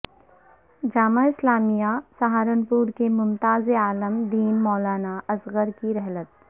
جامعہ اسلامیہ سہارنپور کے ممتاز عالم دین مولانا اصغر کی رحلت